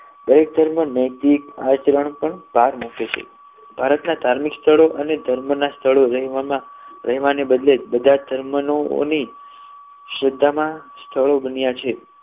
દરેક ધર્મમાં નૈતિક આચરણ પણ પાર મૂકે છે ભારતના ધાર્મિક સ્થળો અને ધર્મના સ્થળો એવા અને રહેવાને બદલે બધાની ધર્મની ઓની શ્રદ્ધા માં સ્થળો બન્યા છે